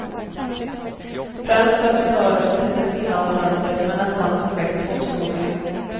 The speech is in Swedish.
Främst för att hon hör till de finlandssvenskar som är nästan perfekt tvåspråkiga.